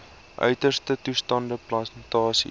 uiterste toestande plantasies